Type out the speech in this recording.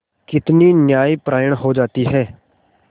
कितनी न्यायपरायण हो जाती है